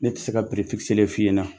Ne tɛ se ka fɔ i ɲɛna